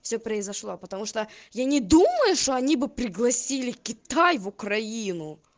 всё произошло потому что я не думаю что они бы пригласили китай в украину